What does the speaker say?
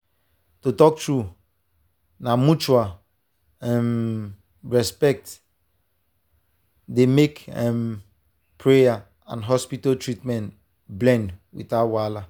to talk true na mutual um respect dey make um prayer and hospital treatment blend without wahala.